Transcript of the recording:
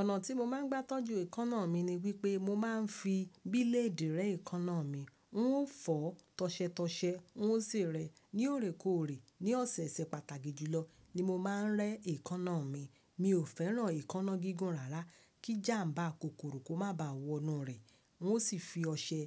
Ọ̀nà tí mo máa ń gbá tọ́jú èékánná mi ni wípé mo máa ń fi bíléèdì rẹ́ èékánná mi. N ó fọ̀ tọ̀sẹ tọ̀sẹ n ó sì rẹ́ ní òrékòrè ní ọ̀sẹ̀ẹ̀sẹ̀ pàtàkì jùlọ ni mo máa ń rẹ́ èékánná mi. Mi ò fẹ́ràn èékánná gígùn rárá kí jàmbá kòkòrò kó má ba à wọ inú rẹ́ n ó sì fi ọṣẹ